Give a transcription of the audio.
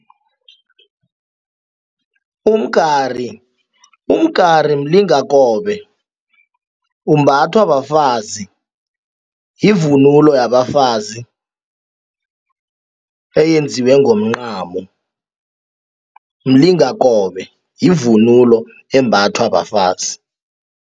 Umgari, umgari mlingakobe umbathwa bafazi, yivunulo yabafazi eyenziwe ngomncamo mlingakobe yivunulo embathwa bafazi.